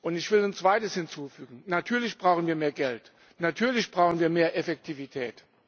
Ich will ein Zweites hinzufügen Natürlich brauchen wir mehr Geld, natürlich brauchen wir mehr Effektivität.